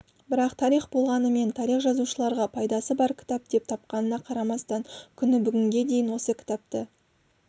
бірақ тарих болмағанымен тарих жазушыларға пайдасы бар кітап деп тапқанына қарамастан күні бүгінге дейін осы кітапты